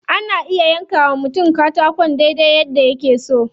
Ana iya yanka wa mutum katakon dai dai yadda yake so.